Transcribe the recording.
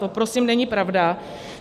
To prosím není pravda.